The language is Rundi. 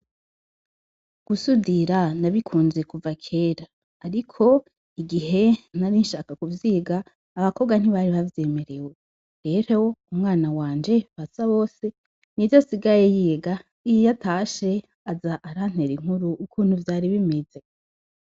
Gusudira nabikunze kuva kera, ariko igihe narinshaka kuvyiga, abakobwa ntibari bavyemerewe. Rero umwana wanje Basabose nivyo asigaye yiga; iyo atashe, aza arantera inkuru ukuntu vyari bimeze.